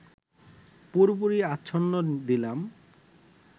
পুরোপুরি আচ্ছন্ন দিলাম